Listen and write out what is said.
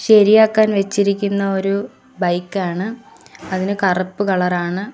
ശരിയാക്കാൻ വെച്ചിരിക്കുന്ന ഒരു ബൈക്കാണ് അതിന് കറുപ്പ് കളറാണ് .